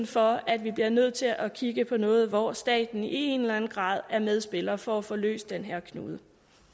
for at vi bliver nødt til at kigge på noget hvor staten i en eller en grad er medspiller for at få løst den her knude